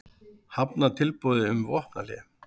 Hafna tilboði um vopnahlé